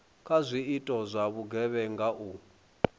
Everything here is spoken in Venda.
kha zwiito zwa vhugevhenga u